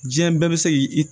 Diɲɛ bɛɛ bɛ se k'i